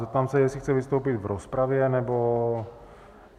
Zeptám se, jestli chce vystoupit v rozpravě nebo...